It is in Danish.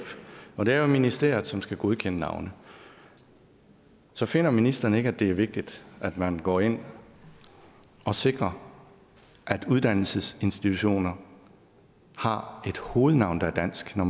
og det er jo ministeriet som skal godkende navne så finder ministeren ikke at det er vigtigt at man går ind og sikrer at uddannelsesinstitutioner har et hovednavn der er dansk når